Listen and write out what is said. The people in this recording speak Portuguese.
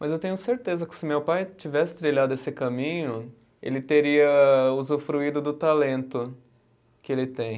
Mas eu tenho certeza que se meu pai tivesse trilhado esse caminho, ele teria usufruído do talento que ele tem.